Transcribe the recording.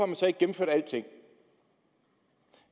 man så ikke gennemført alting